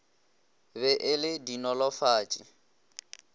be e le a dinolofatši